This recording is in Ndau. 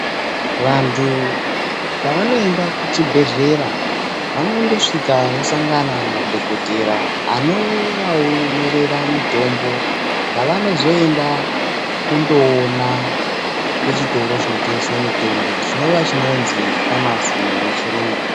Vantu pavonoenda kuchibhedhlera vanondosvika vosangana nadhokotera anovanyorera mitombo yavanozoenda kondoona kuchitoro chinotengesa mitombo chinova chinozi famasi ngemuchiyungu.